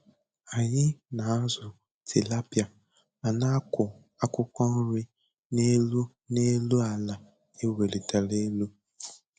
Anyị na-azụ tilapịa ma na-akụ akwụkwọ nri n'elu n'elu àlà e welitere elu.